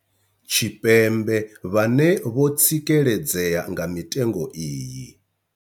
Tshipembe vhane vho tsikeledzea nga mitengo iyi.